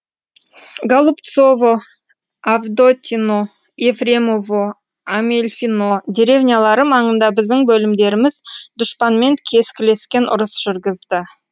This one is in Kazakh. голубцово авдотьино ефремово амельфино деревнялары маңында біздің бөлімдеріміз дұшпанмен кескілескен ұрыс жүргізді